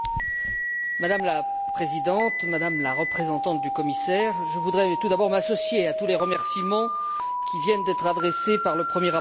Madame la Présidente, Madame la représentante du commissaire, je voudrais tout d'abord m'associer à tous les remerciements qui viennent d'être adressés par le premier rapporteur.